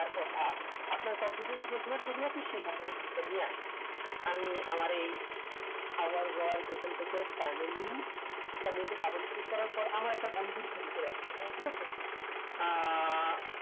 আপনার entire এ যেখানে ছবি আছে সেখান থেকে ছবিটা নিয়ে আসুন আমি আমার এই confution এখন থেকে finially তে dubbleclick করার পর আমার একটা বন্ধুর ছবি চলে আসলো এখানে ঠিক আছে আহ